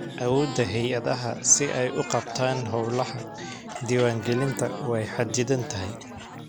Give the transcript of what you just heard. Awoodda hay'adaha si ay u qabtaan hawlaha diiwaangelinta waa xaddidan tahay.